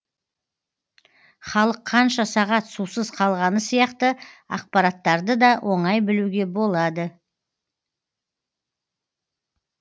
халық қанша сағат сусыз қалғаны сияқты ақпараттарды да оңай білуге болады